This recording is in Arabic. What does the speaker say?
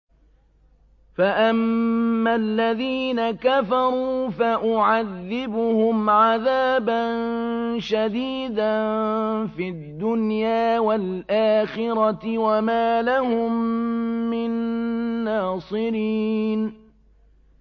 فَأَمَّا الَّذِينَ كَفَرُوا فَأُعَذِّبُهُمْ عَذَابًا شَدِيدًا فِي الدُّنْيَا وَالْآخِرَةِ وَمَا لَهُم مِّن نَّاصِرِينَ